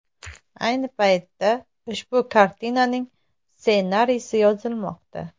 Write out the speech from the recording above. Ayni paytda ushbu kartinaning ssenariysi yozilmoqda.